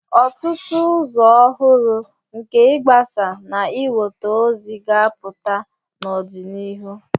Ọtụtụ ụzọ ọhụrụ nke ịgbasa na inweta ozi ga-apụta n'ọdịnihu.